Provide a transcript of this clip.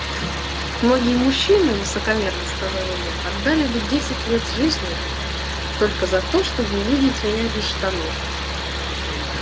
многие мужчины высокомерно сказала я отдали бы десять лет жизни только за то чтобы увидеть меня без штанов